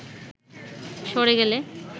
সরে গেলে